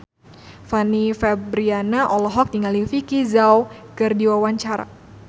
Fanny Fabriana olohok ningali Vicki Zao keur diwawancara